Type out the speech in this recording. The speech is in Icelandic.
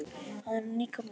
Hann er líka með derhúfu.